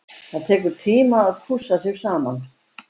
Það tekur tíma að pússa sig saman.